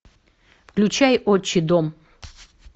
включай отчий дом